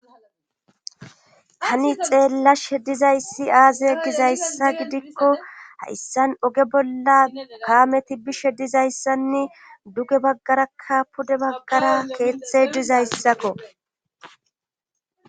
hani xeellashe dizayssi aaze gizayssa gidikko hayssan oge bolla kaameti bishe dizayssanne duge baggarakka pude baggara keeththe dizayssakko.